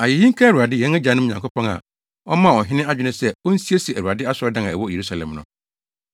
Ayeyi nka Awurade, yɛn agyanom Nyankopɔn a ɔmaa ɔhene adwene sɛ onsiesie Awurade asɔredan a ɛwɔ Yerusalem no.